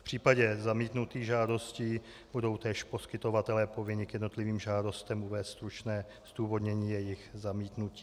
V případě zamítnutých žádostí budou též poskytovatelé povinni k jednotlivým žádostem uvést stručné zdůvodnění jejich zamítnutí.